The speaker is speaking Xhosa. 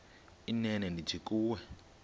inene ndithi kuwe